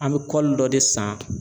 An bɛ kɔli dɔ de san